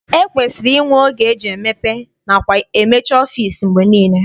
E kwesiri inwe oge eji emepe nakwa emechi ọfịịsi mgbe niile.